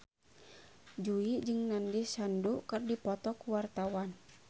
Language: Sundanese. Jui jeung Nandish Sandhu keur dipoto ku wartawan